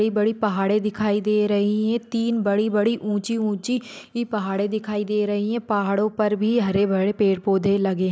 बड़ी पहाड़े दिखाई दे रही है तीन बड़ी बड़ी पहाड़े ऊंची ऊंची दिखाई दे रही है पहाडों पर भी हरे भरे पेड़ पौधे लगे है।